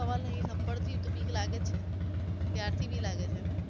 સવાલ નહિ થપ્પડ થી તો બીક લાગે જ છે પ્યાર થી બી લાગે છે